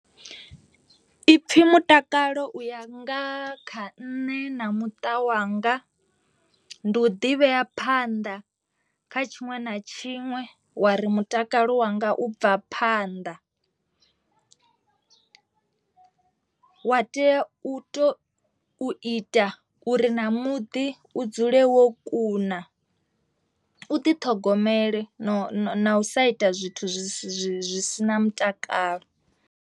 Ipfhi mutakalo u ya nga kha nṋe na muṱa wanga ndi u ḓivhea phanḓa kha tshiṅwe na tshiṅwe wa ri mutakalo wanga u bva phanḓa wa tea u to ita uri na muḓi u dzule wo kuna, u ḓiṱhogomele na u sa ita zwithu zwi si zwi si na mutakalo.